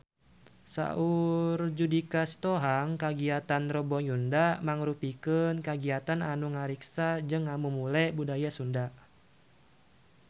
Saur Judika Sitohang kagiatan Rebo Nyunda mangrupikeun kagiatan anu ngariksa jeung ngamumule budaya Sunda